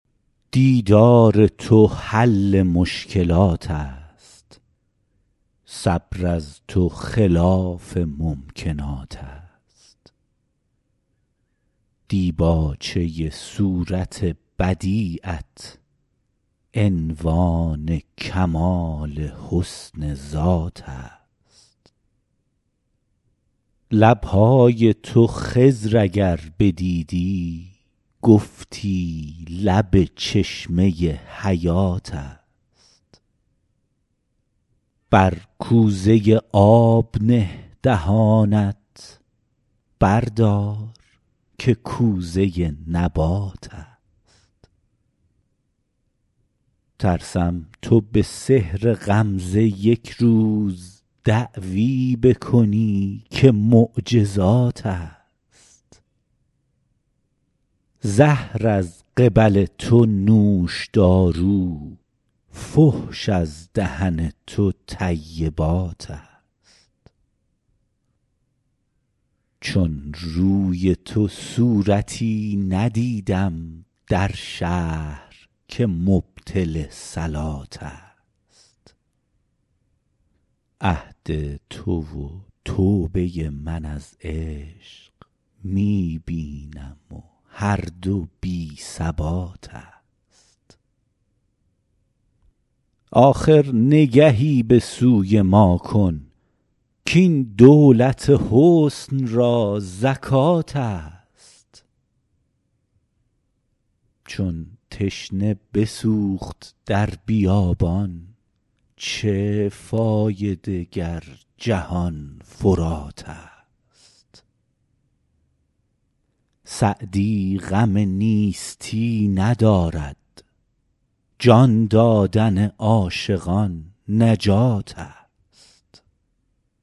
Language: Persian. دیدار تو حل مشکلات است صبر از تو خلاف ممکنات است دیباچه صورت بدیعت عنوان کمال حسن ذات است لب های تو خضر اگر بدیدی گفتی لب چشمه حیات است بر کوزه آب نه دهانت بردار که کوزه نبات است ترسم تو به سحر غمزه یک روز دعوی بکنی که معجزات است زهر از قبل تو نوشدارو فحش از دهن تو طیبات است چون روی تو صورتی ندیدم در شهر که مبطل صلات است عهد تو و توبه من از عشق می بینم و هر دو بی ثبات است آخر نگهی به سوی ما کن کاین دولت حسن را زکات است چون تشنه بسوخت در بیابان چه فایده گر جهان فرات است سعدی غم نیستی ندارد جان دادن عاشقان نجات است